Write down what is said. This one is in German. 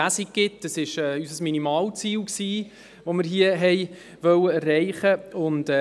Das war unser Minimalziel, das wir hier erreichen wollten.